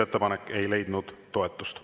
Ettepanek ei leidnud toetust.